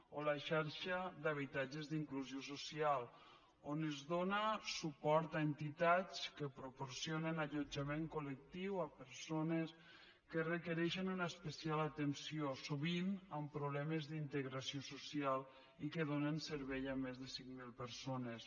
o la xarxa d’habitatges d’inclusió social on es dóna suport a entitats que proporcionen allotjament colespecial atenció sovint amb problemes d’integració social i que donen serveis a més de cinc mil persones